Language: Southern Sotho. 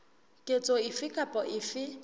ketso efe kapa efe e